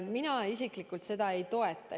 Mina isiklikult seda ei toeta.